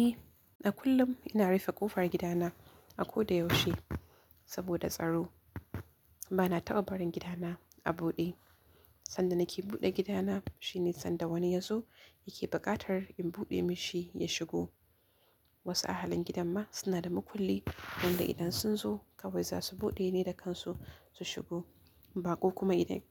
Eh, a kullum, ina rufe kofar gida na, a koda yaushe, saboda tsaro bana taɓa barin gidana a buɗe. Sanda nake buɗe gidana shine sanda wani ya zo yake buƙatar in buɗe mashi ya shigo. Wasu ahalin gidan ma suna da makulli, wanda idan sun zo kawai za su buɗe ne da kansu su shigo. Baƙo kuma idan,